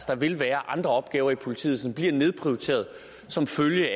der vil være andre opgaver i politiet som bliver nedprioriteret som følge